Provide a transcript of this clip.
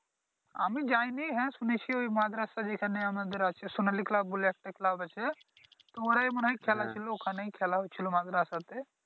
আমি যাইনি হ্যাঁ শুনেছি ওই মাঝ রাস্তায় যেখানে আমাদের আছে সোনালি ক্লাব বলে একটা ক্লাব আছে মনে হয় খেলা ছিলো ওইখানেই খেলা হচ্ছিলো মাঝ রাস্তাতে